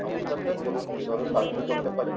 নমস্কার sir বলুন কীভাবে সাহায্য করতে পারি?